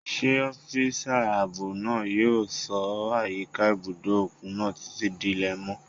Ṣé ọ́físà ààbò náà yóò ṣọ́ àyíká ibùdó òkun náà títí di ilẹ̀ mọ́?